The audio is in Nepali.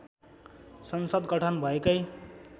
संसद गठन भएकै